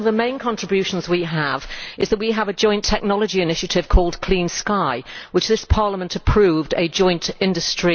I think one of the main contributions we have is that we have a joint technology initiative called Clean Sky, which this Parliament approved, which is a USD